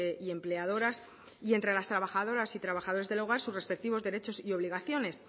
y empleadoras y entre las trabajadoras y trabajadores del hogar sus respectivos derechos y obligaciones